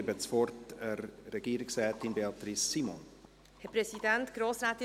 Ich erteile der Regierungsrätin Beatrice Simon das Wort.